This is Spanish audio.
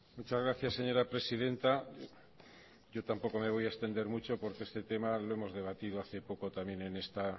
muchas gracias señora presidenta yo tampoco me voy a extender mucho porque este tema lo hemos debatido hace poco también en esta